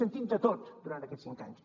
hem sentit de tot durant aquests cinc anys